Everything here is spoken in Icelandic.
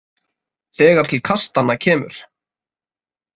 Þegar til kastanna kemur